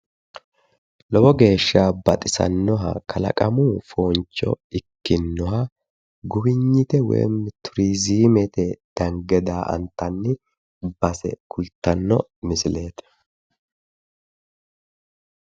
Lowo geeshsha baxisannoha kalaqamu fooncho ikkinoha guwiynite woyi turizimete dange daa''antani base kultanno misileeti.